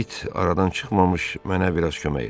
it aradan çıxmamış mənə biraz kömək elə.